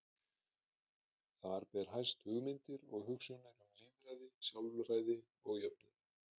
Þar ber hæst hugmyndir og hugsjónir um lýðræði, sjálfræði og jöfnuð.